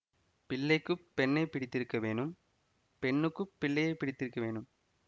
பிள்ளைக்கு பெண்ணை பிடித்திருக்க வேணும் பெண்ணுக்கு பிள்ளையை பிடித்திருக்க வேணும்